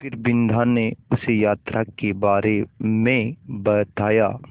फिर बिन्दा ने उसे यात्रा के बारे में बताया